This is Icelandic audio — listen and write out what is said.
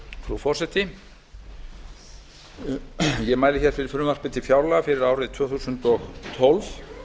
frú forseti ég mæli fyrir frumvarpi til fjárlaga fyrir árið tvö þúsund og tólf